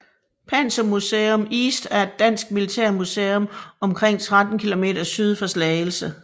Panzermuseum East er et dansk militærmuseum omkring 13 km syd for Slagelse